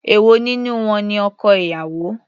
Èwo nínú wọn ni ọkọ ìyàwó.